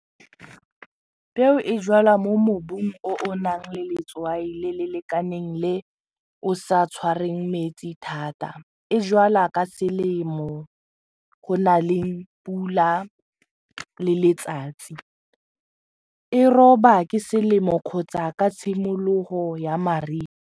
Peo e jalwa mo mobung o o nang le letswai le le lekaneng le o sa tshwarweng metsi thata, e jalwa ka selemo go na le pula le letsatsi, e roba ke selemo kgotsa ka tshimologo ya mariga.